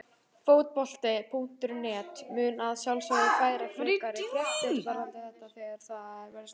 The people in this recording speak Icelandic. Fótbolti.net mun að sjálfsögðu færa frekari fréttir varðandi þetta þegar að þær berast.